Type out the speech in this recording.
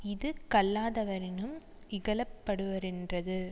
இது கல்லாதவரினும் இகழப்படுவரென்றது